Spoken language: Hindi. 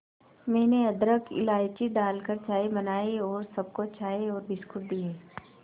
मैंने अदरक इलायची डालकर चाय बनाई और सबको चाय और बिस्कुट दिए